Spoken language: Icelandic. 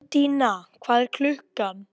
Undína, hvað er klukkan?